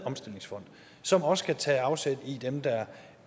omstillingsfond som også kan tage afsæt i dem der